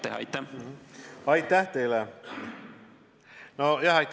... ja see otsus tuleb teha pikalt ette.